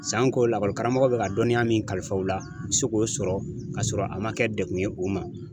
Sanko lakɔli karamɔgɔ bɛ ka dɔnniya min kalifa u la , u bɛ se k'o sɔrɔ k'a sɔrɔ a ma kɛ degun ye o ma.